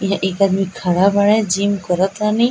ये एक आदमी खड़ा बाड़े जिम करत तानी।